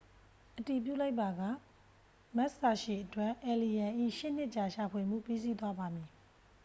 အတည်ပြုလိုက်ပါက မက်စ်စာရှီအတွက် အယ်လီရန်၏ ရှစ်နှစ်ကြာရှာဖွေမှု ပြီးစီးသွားပါမည်